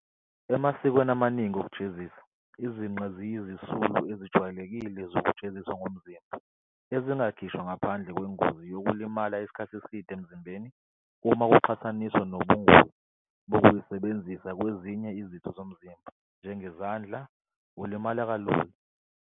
Emasikweni amaningi okujezisa, izinqe ziyizisulu ezijwayelekile zokujeziswa ngomzimba, ezingakhishwa ngaphandle kwengozi yokulimala isikhathi eside emzimbeni uma kuqhathaniswa nobungozi bokuyisebenzisa kwezinye izitho zomzimba, njengezandla, ilimale kalula.